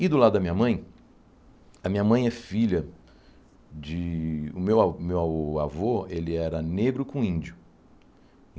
E do lado da minha mãe... A minha mãe é filha de... O meu a o meu avô, ele era negro com índio.